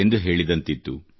ಎಂದು ಹೇಳಿದಂತಿತ್ತು